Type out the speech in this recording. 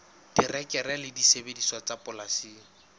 terekere le disebediswa tsa polasing